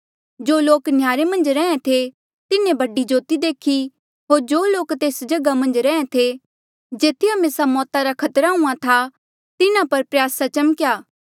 जो लोक नह्यारे मन्झ रहें थे तिन्हें बडी ज्योति देखी होर जो लोक तेस जगहा मन्झ रहें थे जेथी हमेसा मौता रा खतरा हूंहां था तिन्हा पर प्रयासा चमक्या